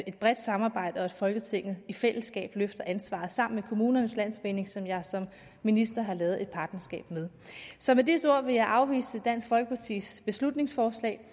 et bredt samarbejde og at folketinget i fællesskab løfter ansvaret sammen kommunernes landsforening som jeg som minister har lavet et partnerskab med så med disse ord vil jeg afvise dansk folkepartis beslutningsforslag